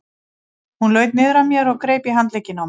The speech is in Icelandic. Hún laut niður að mér og greip í handlegginn á mér.